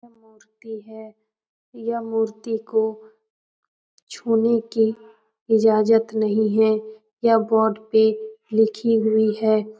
यह मूर्ति है यह मूर्ति को छूने की इजाजत नहीं है यह बोर्ड पर लिखी हुई है।